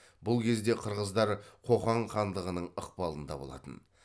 бұл кезде қырғыздар қоқан хандығының ықпалында болатын